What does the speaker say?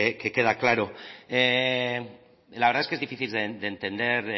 que queda claro la verdad es que es difícil de entender